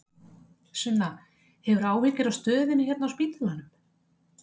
Sunna: Hefurðu áhyggjur af stöðunni hérna inni á spítalanum?